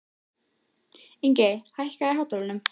Ingey, hækkaðu í hátalaranum.